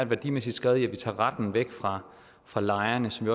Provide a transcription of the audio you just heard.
værdimæssigt skred i at vi tager retten væk fra fra lejerne som